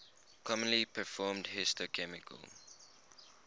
commonly performed histochemical